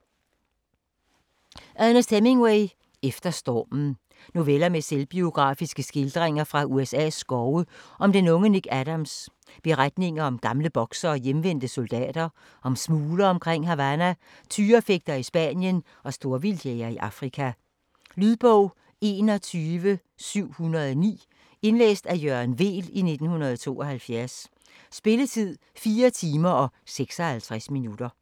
Hemingway, Ernest: Efter stormen Noveller med selvbiografiske skildringer fra USA's skove om den unge Nick Adams, beretninger om gamle boksere og hjemvendte soldater, om smuglere omkring Havana, tyrefægtere i Spanien og storvildtjægere i Afrika. Lydbog 21709 Indlæst af Jørgen Weel, 1972. Spilletid: 4 timer, 56 minutter.